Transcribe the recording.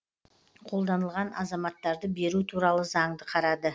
қолданылған азаматтарды беру туралы заңды қарады